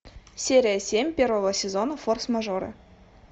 серия семь первого сезона форс мажоры